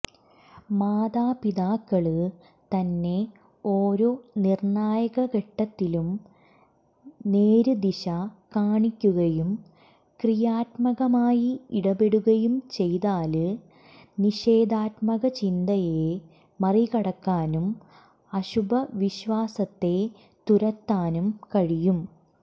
മാതാപിതാക്കള് തന്നെ ഓരോ നിര്ണായകഘട്ടത്തിലും നേര്ദിശ കാണിക്കുകയും ക്രിയാത്മകമായി ഇടപെടുകയും ചെയ്താല് നിഷേധാത്മകചിന്തയെ മറികടക്കാനും അശുഭ വിശ്വാസത്തെ തുരത്താനും കഴിയും